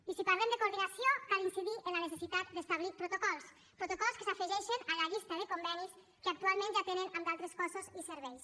i si parlem de coordinació cal incidir en la necessitat d’establir protocols protocols que s’afegeixen a la llista de convenis que actualment ja tenen en d’altres cossos i serveis